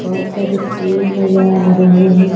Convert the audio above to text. बहुत सारे पेड़ नजर आ रहे हैं।